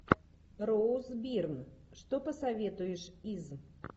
роуз бирн что посоветуешь из